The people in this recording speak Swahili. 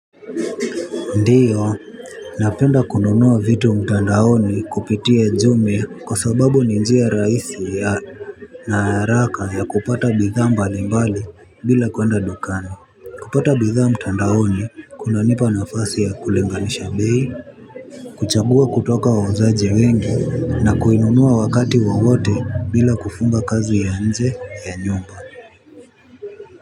Ndiyo, napenda kununua vitu mtandaoni kupitia jumia kwa sababu ni njia rahisi ya na haraka ya kupata bidhaa mbalimbali bila kuenda dukani. Kupata bidhaa mtandaoni kunanipa nafasi ya kulinganisha bei. Kuchagua kutoka wauzaji wengi na kuinunua wakati wowote bila kufunga kazi ya nje ya nyumba.